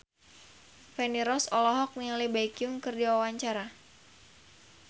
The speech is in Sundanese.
Feni Rose olohok ningali Baekhyun keur diwawancara